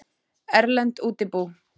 Erlend útibú.